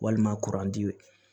Walima kuranti